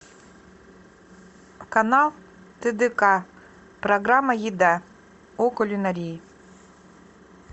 канал тдк программа еда о кулинарии